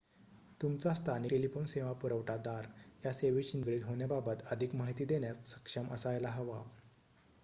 तुमचा स्थानिक टेलिफोन सेवा पुरवठा दार या सेवेशी निगडीत होण्याबाबत अधिक माहिती देण्यास सक्षम असायला हवा